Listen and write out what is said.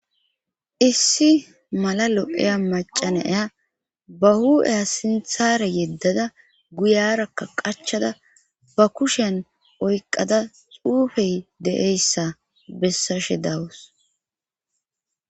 Issi mala lo'eya macanaya ba hu'eya sinthare yeddada guyarakka qachada ba kushen oyqada xuufey de'eyssa bessashe dawus.